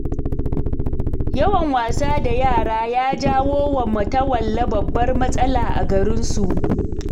Yawan wasa da yara ya janyowa Matawalle babbar matsala a garinsu.